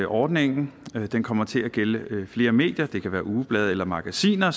ordningen kommer til at gælde flere medier det kan være ugeblade eller magasiner